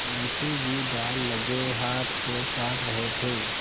मुंशी जी दाललगे हाथ को चाट रहे थे